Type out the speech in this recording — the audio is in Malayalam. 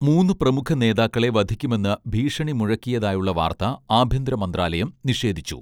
മൂന്നു പ്രമുഖ നേതാക്കളെ വധിക്കുമെന്ന് ഭീഷണി മുഴക്കിയതായുള്ള വാർത്ത ആഭ്യന്തര മന്ത്രാലയം നിഷേധിച്ചു